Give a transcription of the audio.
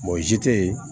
tɛ yen